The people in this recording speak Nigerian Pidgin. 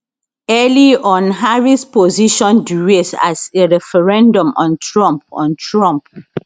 early on harris position di race as a referendum on trump on trump